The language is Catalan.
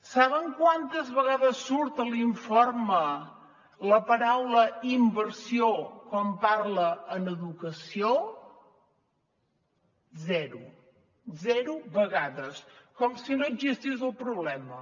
saben quantes vegades surt a l’informe la paraula inversió quan parla en educació zero zero vegades com si no existís el problema